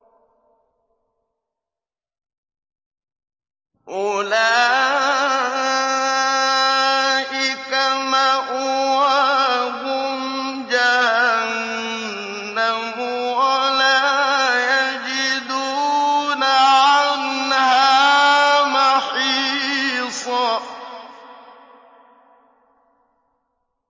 أُولَٰئِكَ مَأْوَاهُمْ جَهَنَّمُ وَلَا يَجِدُونَ عَنْهَا مَحِيصًا